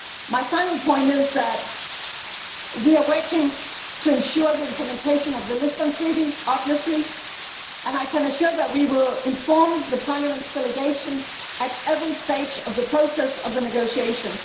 My final point is that we are working to ensure the implementation of the Treaty of Lisbon obviously and I can assure you that we will inform Parliament's delegation at every stage of the progress of the negotiations.